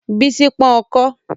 Bísí pọ́n ọkọ́